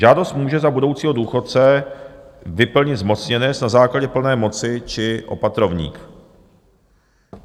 Žádost může za budoucího důchodce vyplnit zmocněnec na základě plné moci či opatrovník.